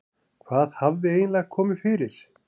Hvað hafði eiginlega komið fyrir?